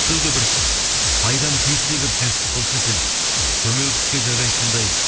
біреуге бір пайдам тиетіндей бір кәсіп болса екен көмекке жарайтындай